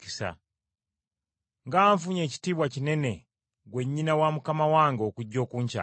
Nga nfunye ekitiibwa kinene ggwe nnyina wa Mukama wange okujja okunkyalira!